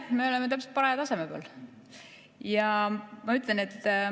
Me oleme täpselt paraja taseme peal.